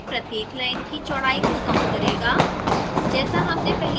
यह output में प्रत्येक line की चौडाई को कम करेगा